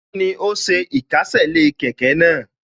Kíni ó ṣe ìkésè sí kẹ̀kẹ́ náà